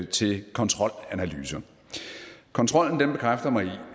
til kontrolanalyser kontrollen bekræfter mig